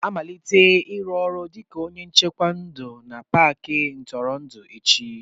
M ga-amalite ịrụ ọrụ dịka onye nchekwa ndụ na Paakị ntụrụndụ echi